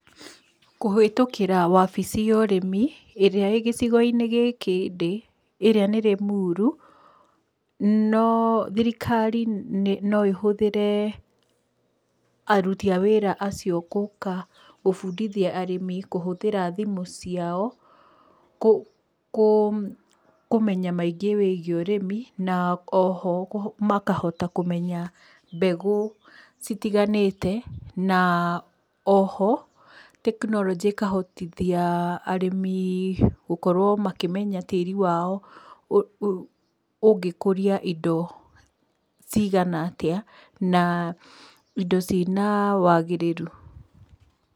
Kũhĩtũkĩra wabici ya ũrĩmi ĩrĩa ĩ gĩcigo-inĩ gĩkĩ ndĩ ĩrĩa nĩ Limuru, thirikari no ĩhũthĩre aruti a wĩra acio gũka gũbundithia arĩmi kũhũthĩra thimũ ciao, kũmenya maingĩ wĩgiĩ ũrĩmi, na oho makahota kũmenya mbegũ citiganĩte na oho, tekinoronjĩ ĩkahotithia arĩmĩ gũkorwo makĩmenya tĩri wao ũngĩkũria indo cigana atĩa na indo cina wagĩrĩru.